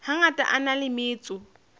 hangata a na le metso